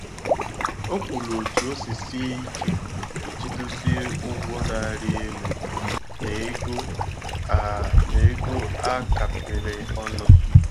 O kwuru otú o si sie ike iji dozie ụgwọ na-arị elu na ego a na ego a kapịrị ọnụ.